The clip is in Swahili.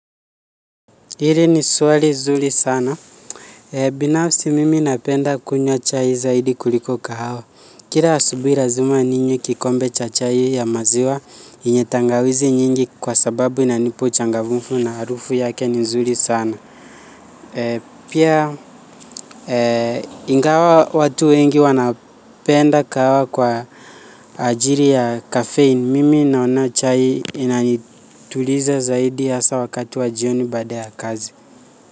Hili ni swali zuri sana. Binafsi, mimi napenda kunywa chai zaidi kuliko kahawa. Kila asubuhi lazima ninywe kikombe cha chai ya maziwa yenye tangawizi nyingi kwa sababu inanipa changamfu na harufu yake ni nzuri sana. Pia, ingawa watu wengi wanapenda kahawa kwa ajili ya kafeini. Mimi naona chai inanituliza zaidi, hasa wakati wa jioni baada ya kazi.